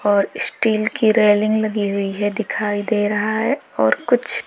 और स्टील की रेलिंग लगी हुई है दिखाई दे रहा है और कुछ--